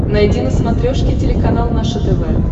найди на смотрешке телеканал наше тв